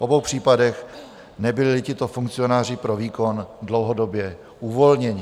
V obou případech nebyli tito funkcionáři pro výkon dlouhodobě uvolněni.